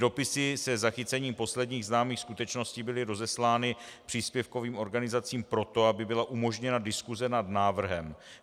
Dopisy se zachycením posledních známých skutečností byly rozeslány příspěvkovým organizacím proto, aby byla umožněna diskuse nad návrhem.